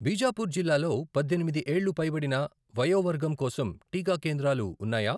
బీజాపూర్ జిల్లాలో పద్దెనిమిది ఏళ్లు పైబడిన వయోవర్గం కోసం టీకా కేంద్రాలు ఉన్నాయా?